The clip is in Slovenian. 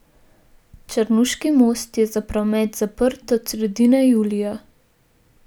Črnuški most je za promet zaprt od sredine julija.